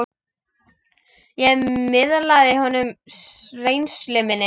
Ég miðlaði honum reynslu minni.